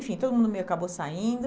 Enfim, todo mundo meio acabou saindo.